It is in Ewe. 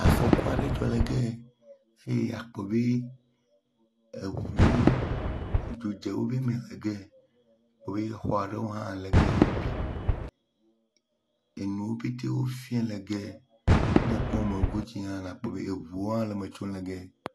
Afɔku aɖe dzɔ le ge ya ye akpɔ be eŋuwo dzodze wo be me ge ya abe exɔ aɖewo hã le ege ya wo bi. Enuwo pɛte wofia le ge ya. Ne ekpɔ me godzi hã la akpɔ be eŋuwo hã le metsom le ge ya.